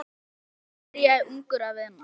Jóhann byrjaði ungur að vinna.